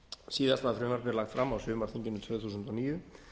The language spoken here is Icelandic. síðast var frumvarpið lagt fram á sumarþinginu tvö þúsund og níu